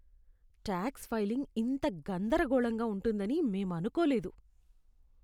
Talks filing ఇంత గందరగోళంగా ఉంటుందని మేం అనుకోలేదు!